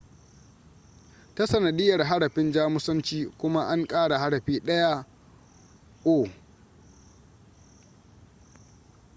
ta sanadiyar harafin jamusanci kuma an ƙara harafi ɗaya õ / õ